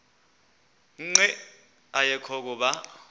nqe ayekho kuba